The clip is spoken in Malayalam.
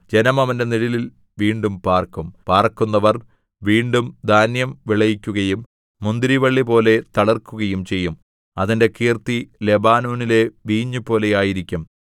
ജനം അവന്റെ നിഴലിൽ വീണ്ടും പാര്‍ക്കും പാർക്കുന്നവർ വീണ്ടും ധാന്യം വിളയിക്കുകയും മുന്തിരിവള്ളിപോലെ തളിർക്കുകയും ചെയ്യും അതിന്റെ കീർത്തി ലെബാനോനിലെ വീഞ്ഞുപോലെ ആയിരിക്കും